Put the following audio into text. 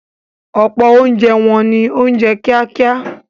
Ọ̀pọ̀ oúnjẹ wọn ni oúnjẹ kíákíá.